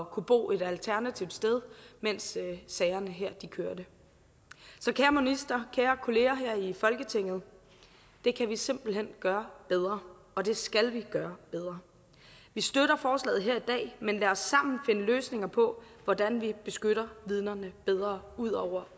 kunne bo et alternativt sted mens sagerne kørte så kære minister og kære kolleger her i folketinget det kan vi simpelt hen gøre bedre og det skal vi gøre bedre vi støtter forslaget her i dag men lad os sammen finde løsninger på hvordan vi beskytter vidnerne bedre ud over